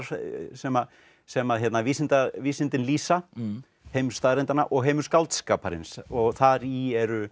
sem sem vísindin vísindin lýsa heim staðreyndanna og heim skáldskaparins og þar í eru